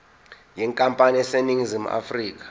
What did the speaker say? yenkampani eseningizimu afrika